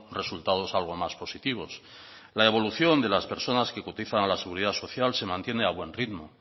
resultados algo más positivos la evolución de las personas que cotizan a la seguridad social se mantiene a buen ritmo